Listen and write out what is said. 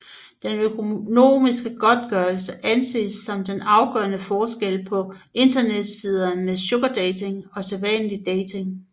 Den økonomiske godtgørelse anses som den afgørende forskel på internetsider med sugardating og sædvanlig dating